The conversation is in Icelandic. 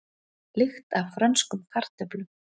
Lykt af frönskum kartöflum